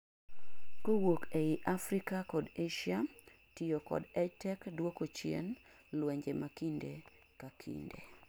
kowuok ei Africa kod Asia tiyo kod EdTech duoko chien luenje makinde ka kinde